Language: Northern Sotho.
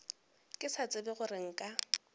ke sa tsebe gore nka